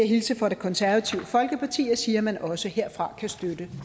hilse fra det konservative folkeparti og sige at man også derfra kan støtte